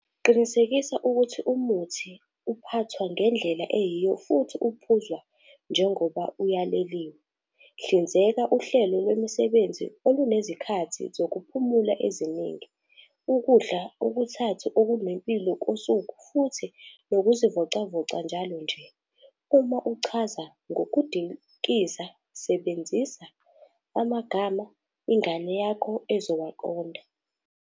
Qinisekisa ukuthi umuthi uphathwa ngendlela eyiyo futhi uphuzwa njengoba uyaleliwe. Hlinzeka uhlelo lwemisebenzi olunezikhathi zokuphumula eziningi, ukudla okuthathu okunempilo kosuku futhi nokuzivocavoca njalo nje. Uma uchaza ngokudlikiza sebenzisa amagama ingane yakho ezowaqonda.